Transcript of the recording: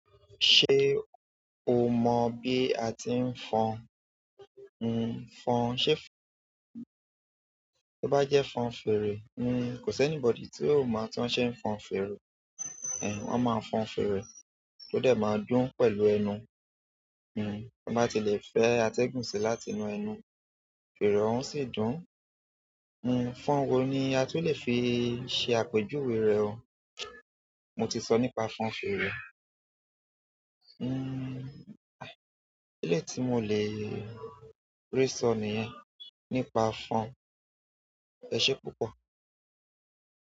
Ṣé o mọ̀ bí a ti ń fọn? N n fọn, ṣe bá jẹ́ fọn fèrè? N kò sí anybody tí o máa mọ̀ tí wọ́n ṣe ń fọn fèrè. Ẹ̀hẹ̀! Wọ́n máa fọn fèrè, ó dẹ̀ máa dún pẹ̀lú ẹnu. Tan ba ti le fẹ atẹgun si láti inú ẹnu fere ọun o si dùn. N n fọn wo ni a tó lè fi ṣe àpèjúwe rẹ o? Mo ti sọ nípa fọn fèrè. N n eleyi tí mo le rí sọ̀ niyẹn nípa fọn. Ẹ ṣé púpọ̀.